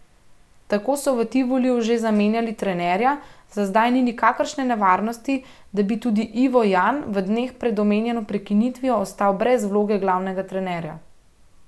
Tako so v Tivoliju že zamenjali trenerja, za zdaj ni nikakršne nevarnosti, da bi tudi Ivo Jan v dneh pred omenjeno prekinitvijo ostal brez vloge glavnega trenerja.